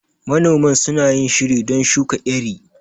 Manoman suna yin shiri don shuka iri.